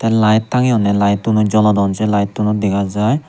te layet tanyonne layetuno jolodon se layettuno dega jai.